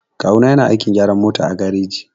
Kawu na yana aikin gyaran mota a gareji.